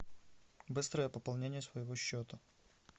быстрое пополнение своего счета